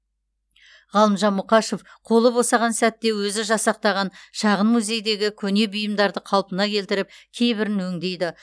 ғалымжан мұқашев қолы босаған сәтте өзі жасақтаған шағын музейдегі көне бұйымдарды қалпына келтіріп кейбірін өңдейді